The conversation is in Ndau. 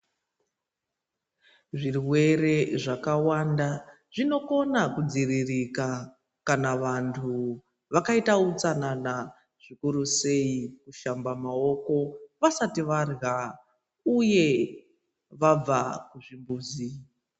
Zvirwere zvakawanda zvinokona kudziririka kana vantu vakaita utsanana zvikuru sei kushamba maoko vasati varya uye vabva kuzvimbuzi.